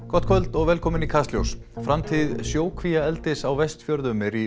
gott kvöld og velkomin í Kastljós framtíð sjókvíaeldis á Vestfjörðum er í